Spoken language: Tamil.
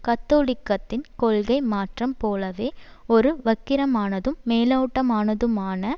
கத்தோலிக்கத்தின் கொள்கை மாற்றம் போலவே ஒரு வக்கிரமானதும் மேலோட்டமானதுமான